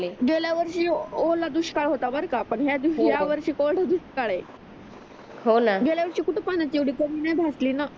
गेल्या वर्षी हो ओला दुष्काळ होता बर का पण या वर्षी या वर्षी कोरडा दुष्काळ आहे हो न गेल्या वर्षी कुठ पाण्याची एवढी कमी नाही भासली न